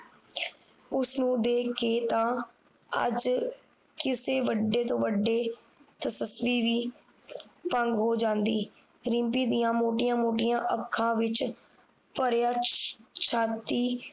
ਉਸਨੂੰ ਦੇਖ ਕੇ ਤਾ ਅੱਜ ਕਿਸੇ ਵੱਡੇ ਤੋਂ ਵੱਡੇ ਤੇਜੱਸਵੀ ਵੀ ਭੰਗ ਹੋ ਜਾਂਦੀ ਰਿਮਪੀ ਦੀਆ ਮੋਟੀਆਂ ਮੋਟੀਆਂ ਅੱਖਾਂ ਵਿਚ ਭਰਿਆ ਛਾ ਛਾਤੀ